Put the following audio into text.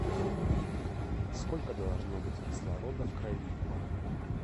сколько должно быть кислорода в крови